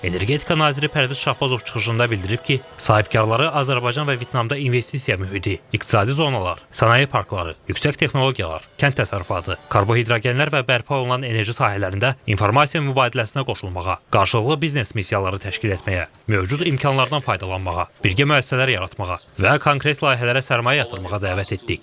Energetika naziri Pərviz Şahbazov çıxışında bildirib ki, sahibkarları Azərbaycan və Vyetnamda investisiya mühiti, iqtisadi zonalar, sənaye parkları, yüksək texnologiyalar, kənd təsərrüfatı, karbohidrogenlər və bərpa olunan enerji sahələrində informasiya mübadiləsinə qoşulmağa, qarşılıqlı biznes missiyaları təşkil etməyə, mövcud imkanlardan faydalanmağa, birgə müəssisələr yaratmağa və konkret layihələrə sərmayə yatırmağa dəvət etdik.